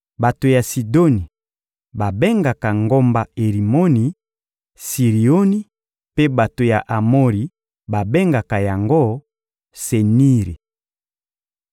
Bato ya Sidoni babengaka ngomba Erimoni Sirioni mpe bato ya Amori babengaka yango Seniri.